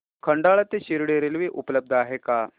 खंडाळा ते शिर्डी रेल्वे उपलब्ध आहे का